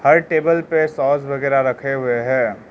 हर table पे sauce वगेरा रखे हुए हैं।